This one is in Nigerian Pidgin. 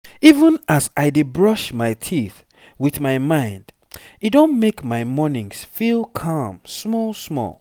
even as i dey brush my teeth with my mind e don make my mornings feel calm small small